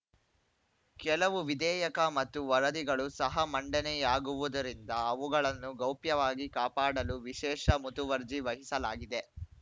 ಕೆಲವು ವಿಧೇಯಕ ಮತ್ತು ವರದಿಗಳು ಸಹ ಮಂಡನೆಯಾಗುವುದರಿಂದ ಅವುಗಳನ್ನು ಗೌಪ್ಯವಾಗಿ ಕಾಪಾಡಲು ವಿಶೇಷ ಮುತುವರ್ಜಿ ವಹಿಸಲಾಗಿದೆ